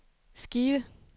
skive